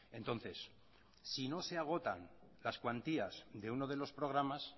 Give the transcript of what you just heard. entonces si no se agotan las cuantías de uno de los programas